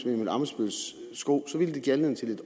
emil ammitzbølls sko give anledning til